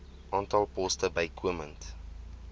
aantal poste bykomend